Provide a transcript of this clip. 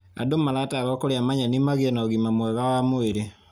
Andũ maratarwo kũrĩa manyeni magĩe na ũgima mwega wa mwĩrĩ.